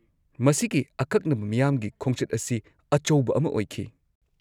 -ꯃꯁꯤꯒꯤ ꯑꯀꯛꯅꯕ ꯃꯤꯌꯥꯝꯒꯤ ꯈꯣꯡꯆꯠ ꯑꯁꯤ ꯑꯆꯧꯕ ꯑꯃ ꯑꯣꯏꯈꯤ ꯫